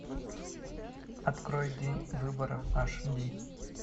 открой день выборов аш ди